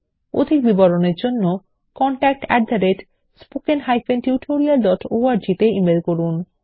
অধিক বিবরণের জন্য contactspoken tutorialorg তে ইমেল করুন